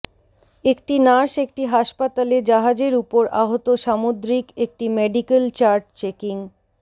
একটি নার্স একটি হাসপাতালে জাহাজের উপর আহত সামুদ্রিক একটি মেডিকেল চার্ট চেকিং